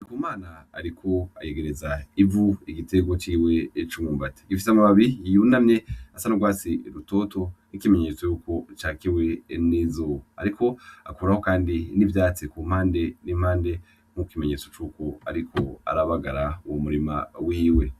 Ndikumana ariko ayegereza ivu igitego ciwe c'umwumbati, gifise amababi yunamye asa n'urwasi rutoto n'ikimenyetso yuko cakiwe n'izuba, ariko akuraho kandi n'ivyatsi kumpande n'impande n'ikimenyetso cuko ariko arabagara uwo murima wiwe.